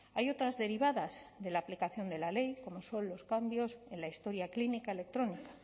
hay otras derivadas de la aplicación de la ley como son los cambios en la historia clínica electrónica